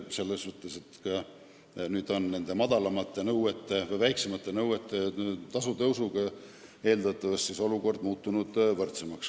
Selles mõttes muutub nüüd olukord tänu väiksemate nõuete puhul kehtivate määrade tõusule paremaks.